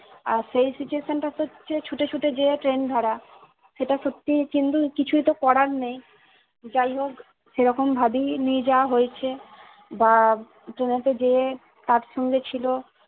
আর সেই situation টা তে হচ্ছে ছুটে ছুটে যেয়ে ট্রেন ধরা । সেটা সত্যিই কিন্তু কিছুই তো করার নেই যাই হোক সেই রকম ভাবেই নিয়ে যাওয়া হয়েছে। বা ট্রেনেতে যে তার সঙ্গে ছিল